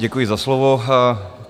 Děkuji za slovo.